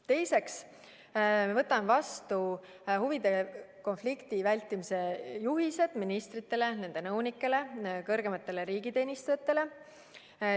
Teiseks, me võtame vastu huvide konflikti vältimise juhised ministritele, nende nõunikele, kõrgematele riigiteenistujatele.